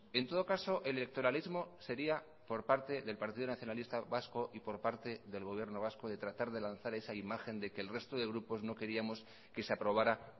en todo caso electoralismo sería por parte del partido nacionalista vasco y por parte del gobierno vasco de tratar de lanzar esa imagen de que el resto de grupos no queríamos que se aprobara